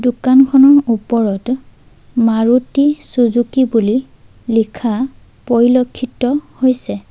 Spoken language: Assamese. দোকানখনৰ ওপৰত মাৰুতি চুজুকি বুলি লিখা পৰিলক্ষিত হৈছে।